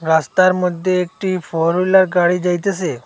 রাস্তার মদ্যে একটি ফোর হুইলার গাড়ি যাইতাসে।